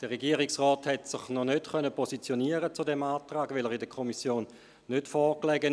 Der Regierungsrat hat sich noch nicht zu diesem Antrag positionieren können, weil er der Kommission nicht vorlag.